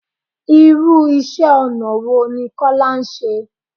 Irú iṣẹ́ ọ̀nà wo ní Kọ́lá ṣe?